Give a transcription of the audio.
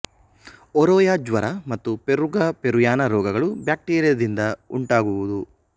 Oroya ಜ್ವರ ಮತ್ತು ಪೆರ್ರುಗ ಪೆರುಯಾನ ರೋಗಗಳು ಬ್ಯಾಕ್ಟೀರಿಯದಿಂದ ಉಂಟಾಗುವುವು